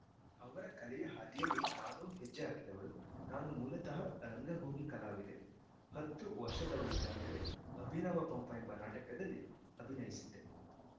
ಅವರ ಕಲೆಯ ಹಾದಿಯಲ್ಲಿ ನಾನೂ ಹೆಜ್ಜೆ ಹಾಕಿದವಳು ನಾನು ಮೂಲತಃ ರಂಗಭೂಮಿ ಕಲಾವಿದೆ ಹತ್ತು ವರ್ಷದವಳಿದ್ದಾಗಲೇ ಅಭಿನವ ಪಂಪ ಎಂಬ ನಾಟಕದಲ್ಲಿ ಅಭಿನಯಿಸಿದ್ದೆ